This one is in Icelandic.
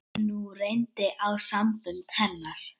Nú reyndi á sambönd hennar.